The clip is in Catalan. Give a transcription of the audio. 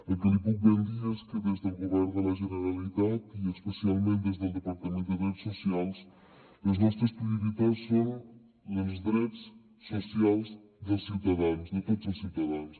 el que li puc ben dir és que des del govern de la generalitat i especialment des del departament de drets socials les nostres prioritats són els drets socials dels ciutadans de tots els ciutadans